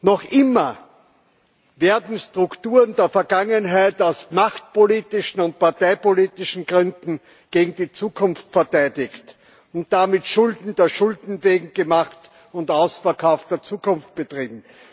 Noch immer werden Strukturen der Vergangenheit aus machtpolitischen und parteipolitischen Gründen gegen die Zukunft verteidigt und damit Schulden der Schulden wegen gemacht, und es wird der Ausverkauf der Zukunft betrieben.